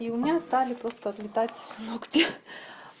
и у меня стали тут отлетать ногти